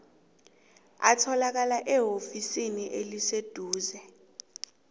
atholakala eofisini eliseduze